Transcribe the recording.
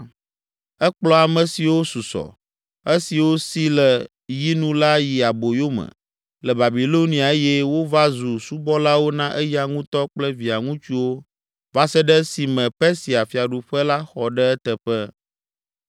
Ekplɔ ame siwo susɔ, esiwo si le yi nu la yi aboyome le Babilonia eye wova zu subɔlawo na eya ŋutɔ kple via ŋutsuwo va se ɖe esime Persia fiaɖuƒe la xɔ ɖe eteƒe.